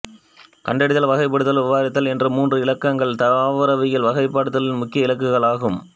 கண்டறிதல் வகைப்படுத்துதல் விவரித்தல் என்ற மூன்று இலக்குகளே தாவரவியல் வகைப்படுத்துதலின் முக்கிய இலக்குகள் ஆகும்